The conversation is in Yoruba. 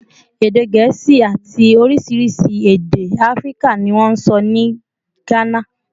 Èdè Gẹ̀ẹ́sì àti oríṣiríṣi èdè Áfíríkà ni wọ́n ń sọ ní Gánà